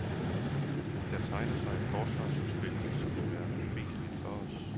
Der tegner sig et forsvarsudspil, som vil være uspiseligt for os.